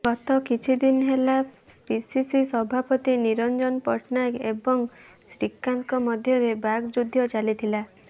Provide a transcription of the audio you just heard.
ଗତ କିଛିଦିନ ହେଲା ପିସିସି ସଭାପତି ନିରଞ୍ଜନ ପଟ୍ଟନାୟକ ଏବଂ ଶ୍ରୀକାନ୍ତଙ୍କ ମଧ୍ୟରେ ବାକ୍ ଯୁଦ୍ଧ ଚାଲିଥିଲା